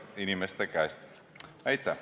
Aitäh!